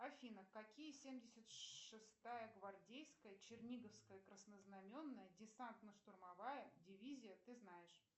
афина какие семьдесят шестая гвардейская черниговская краснознаменная десантно штурмовая дивизия ты знаешь